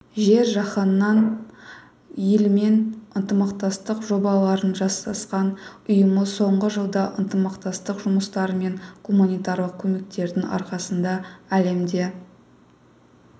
жер-жаһанның елімен ынтымақтастық жобаларын жасасқан ұйымы соңғы жылда ынтымақтастық жұмыстары мен гуманитарлық көмектердің арқасында әлемде